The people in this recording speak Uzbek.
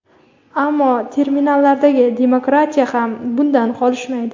Ammo terminlardagi demokratiya ham bundan qolishmaydi.